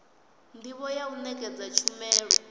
ndivho ya u nekedza tshumelo